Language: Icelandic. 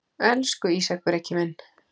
Elsku Ísak Breki minn.